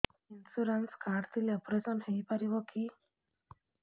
insurance card ଥିଲେ operation ହେଇପାରିବ କି